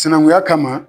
Sinankunya kama